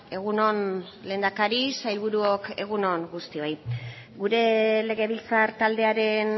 egun on lehendakari sailburuok egun on guztioi gure legebiltzar taldearen